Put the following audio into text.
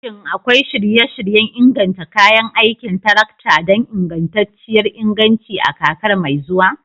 Shin akwai shirye-shiryen inganta kayan aikin tarakta don ingantacciyar inganci a kakar mai zuwa?